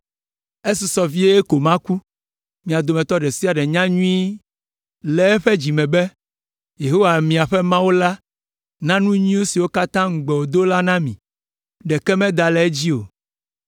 “Esusɔ vie ko maku. Mia dometɔ ɖe sia ɖe nya nyuie le eƒe dzi me be Yehowa miaƒe Mawu na nu nyui siwo katã ŋugbe wòdo la mi, ɖeke meda le edzi o.